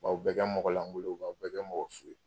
U b'aw bɛɛ kɛ mɔgɔlangolo ye, u b'aw bɛɛ kɛ mɔgɔ su ye.